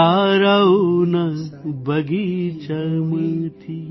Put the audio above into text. તારાઓના બગીચામાંથી